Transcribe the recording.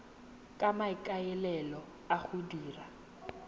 ka maikaelelo a go dira